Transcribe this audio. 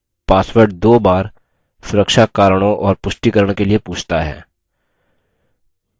password दो बार सुरक्षा कारणों और पुष्टिकरण के लिए पूछता है